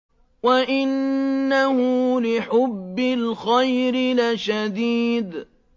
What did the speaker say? وَإِنَّهُ لِحُبِّ الْخَيْرِ لَشَدِيدٌ